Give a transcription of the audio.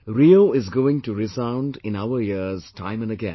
RIO is going to resound in our ears time and again